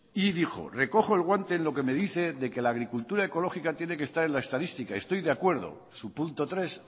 y dijo recojo el guante en lo que me dice de que la agricultura ecológica tiene que estar en la estadística estoy de acuerdo su punto tres